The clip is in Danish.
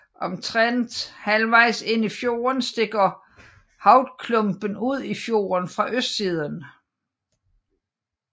Omtrent halvvejs ind i fjorden stikker Hovdklumpen ud i fjorden fra østsiden